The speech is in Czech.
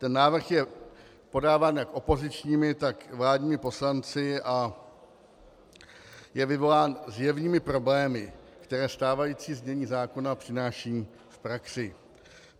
Ten návrh je podáván jak opozičními, tak vládními poslanci a je vyvolán zjevnými problémy, které stávající znění zákona přináší v praxi.